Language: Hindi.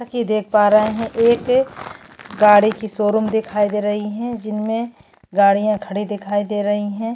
जैसा की देख पा रहे है एक गाड़ी की शोरूम दिखाई दे रही है जिनमे गाड़िया खड़ी दिखाई दे रही है।